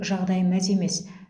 жағдай мәз емес